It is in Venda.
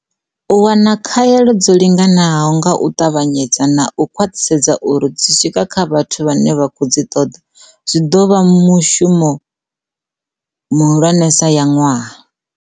U wana khaelo dzo linga-naho nga u ṱavhanyedza - na u khwaṱhisedza uri dzi swika kha vhathu vhane vha khou dzi ṱoḓa -zwi ḓo vha muṅwe wa mishumo mihulwanesa ya ṅwaha.